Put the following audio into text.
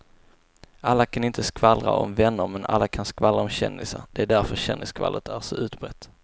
Alla kan inte skvallra om vänner men alla kan skvallra om kändisar, det är därför kändisskvallret är så utbrett.